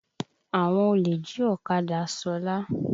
Àwọn olè jí ọ̀kadá Ṣọlá.